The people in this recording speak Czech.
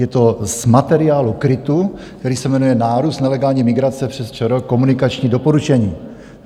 Je to z materiálu KRITu, který se jmenuje Nárůst nelegální migrace přes ČR - komunikační doporučení.